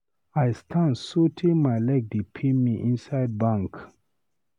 I stand so tey my leg dey pain me inside bank.